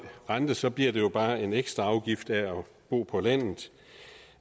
rente og så bliver det bare en ekstra afgift af at bo på landet